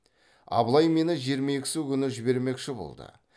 абылай мені жиырма екісі күні жібермекші болды